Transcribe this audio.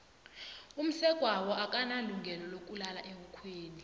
umsegwabo akanalungelo lokulala ebukhweni